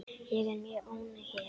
Ég er mjög ánægð hér.